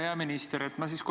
Hea minister!